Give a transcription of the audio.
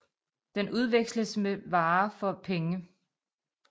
Den udveksles med andre varer for penge